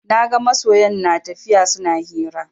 Naga masoyan natafiya suna hira